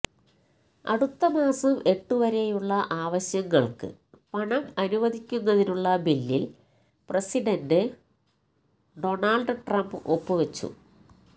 അടുത്തമാസം എട്ടുവരെയുളള ആവശ്യങ്ങള്ക്ക് പണം അനുവദിക്കുന്നതിനുളള ബില്ലില് പ്രസിഡന്റ് ഡോണ്ള്ഡ് ട്രംപ് ഒപ്പ് വച്ചു